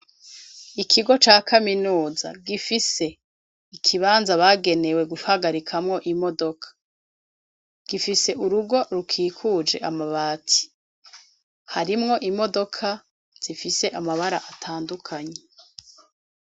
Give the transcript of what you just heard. Ikigo ca kaminuza, gifise ikibanza, bagenewe guhagarikamwo imodoka, gifise urugo rukikuje amabati; harimwo imodoka, zifise amabara atandukanye.